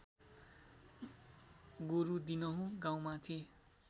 गोरु दिनहुँ गाउँमाथि